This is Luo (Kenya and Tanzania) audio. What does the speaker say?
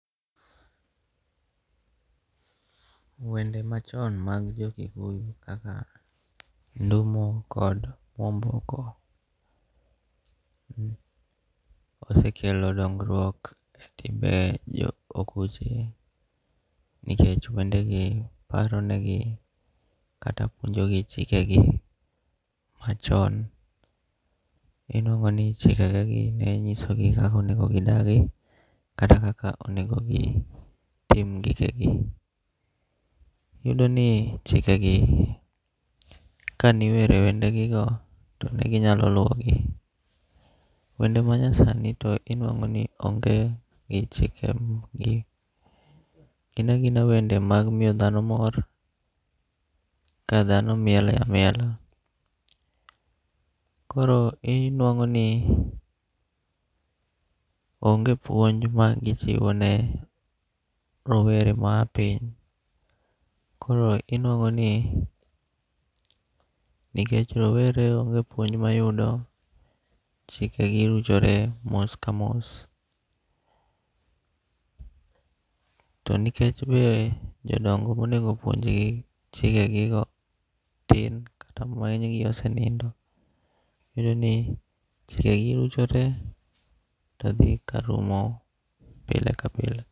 Wende machon mag jo Kikuyo kaka Ndumo kod Mwomboko osekelo dongruok e timbe okuche nikech wende gi paro negi kata puonjo gi chikegi machon. Inuang'o ni chikek ge gi nechisogi kaka onego gidagi kata kaka onego gitim gikegi. Iyudo ni chike gi kane iwero wende gi go to ne ginyalo luwo gi. Wende ma nya sani to inuang'o ni onge chikegi. Gina agina wende mag miyo dhano mor ka dhano miele amiela. Koro inuang'o ni onge puonj ma gichiwo ne rowere mar piny. Koro inuang'o ni nikech rowere onge puonj mayudo, chikegi ruchore mos ka mos. To nikech be jodongo monego puonj gi chike gi go tin kata ng'eny gi osenindo. Iyudo ni chikeki rucho te to dhi ka rumo pile ka pile.